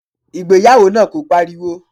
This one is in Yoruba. Ìgbéyàwó náà kò pariwo.